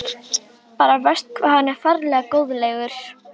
Bara verst hvað hann er ferlega góðlegur.